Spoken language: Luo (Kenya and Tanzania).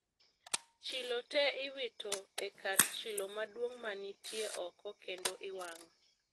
Chilo te iwito e kar chilo maduong' manitie oko kendo iwang'o